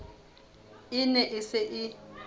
e ne e se e